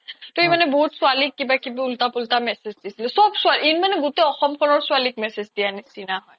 তৌ ই মানে বহুত ছোৱালিক কিবা কিবি উল্তা পুল্তা message দিছিলে চ্'ব ছোৱালিক ই মানে অসমৰ ছোৱালিক message দিয়াৰ নিচিনা হয়